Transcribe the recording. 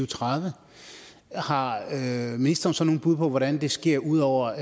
tredive har ministeren så nogle bud på hvordan det sker ud over